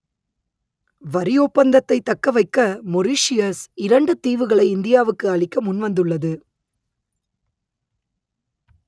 வரி ஒப்பந்தத்தைத் தக்க வைக்க மொரீஷியஸ் இரண்டு தீவுகளை இந்தியாவுக்கு அளிக்க முன்வந்துள்ளது